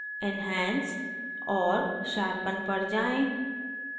enhance और sharpen पर जाएँ